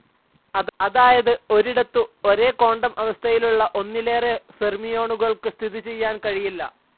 അതായത് ഒരിടത്തു ഒരേ ക്വാണ്ടം അവസ്ഥയിലുള്ള ഒന്നിലേറെ ഫെര്മിയോണുകൾക്കു സ്ഥിതിചെയ്യാൻ കഴിയില്ല.